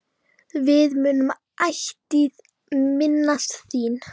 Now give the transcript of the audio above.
Við munum ætíð minnast þín.